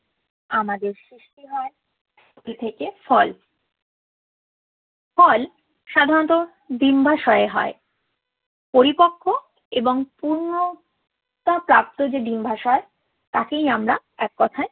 আমাদের থেকে ফল। ফল সাধারণত ডিম্বাশয়ে হয়। পরিপক্ব এবং পূর্ণতাপ্রাপ্ত যে ডিম্বাশয় তাকেই আমরা এক কথায়